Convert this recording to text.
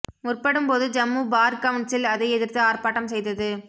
முற்படும் போது Jammu bar council அதை எதிர்த்து ஆர்ப்பாட்டம் செய்தது